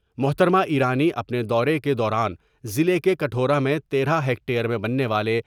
محترما ایرانی اپنے دورے کے دوران ضلع کے کٹھورا میں تیرہ ہیکٹر میں بننے والے۔